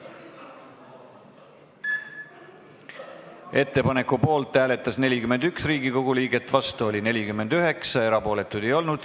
Hääletustulemused Ettepaneku poolt hääletas 41 Riigikogu liiget, vastu oli 49, erapooletuid ei olnud.